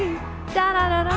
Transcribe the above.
að